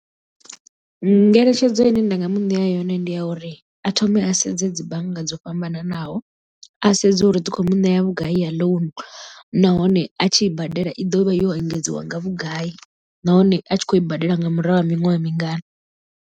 Ngeletshedzo ine nda nga muṋea yone ndi ya uri a thome a sedze dzi bannga dzo fhambananaho a sedze uri dzi kho mu ṋea vhugai ya ḽounu nahone a tshi i badela i ḓovha yo engedziwa nga vhugai nahone a tshi khou i badela nga murahu ha miṅwaha mingana.